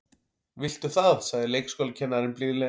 Viltu það sagði leikskólakennarinn blíðlega.